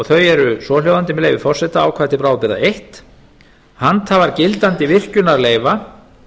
og þau eru svohljóðandi með leyfi forseta ákvæði til bráðabirgða fyrsta handhafar gildandi virkjunarleyfa